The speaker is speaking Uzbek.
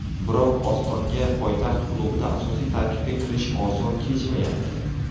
Biroq Ostonga poytaxt klubida asosiy tarkibga kirish oson kechmayapti.